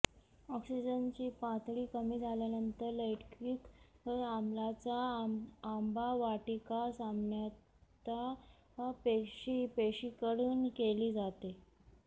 ऑक्सिजनची पातळी कमी झाल्यानंतर लैक्टिक आम्लाचा आंबावाटिका सामान्यतः पेशी पेशींकडून केली जाते